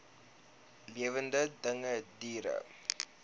lewende dinge diere